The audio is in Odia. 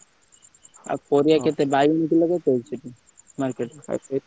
ଆଉ ପାରିବା କେତେ ବାଇଗଣ କିଲ କେତେ ଅଛି market ରେ?